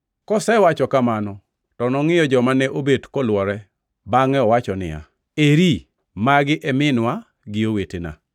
Kosewacho kamano to nongʼiyo joma ne obet kolwore bangʼe owacho niya, “Eri, magi e minwa gi owetena!